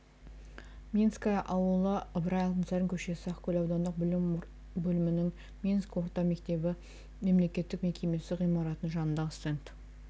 минское ауылы ыбырай алтынсарин көшесі ақкөл аудандық білім бөлімінің минск орта мектебі мемлекеттік мекемесі ғимаратының жанындағы стенд